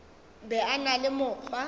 be a na le mokgwa